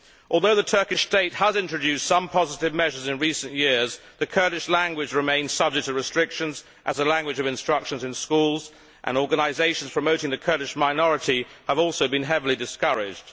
Although the Turkish state has introduced some positive measures in recent years, the Kurdish language remains subject to restrictions as a language of instruction in schools, and organisations promoting the Kurdish minority have also been heavily discouraged.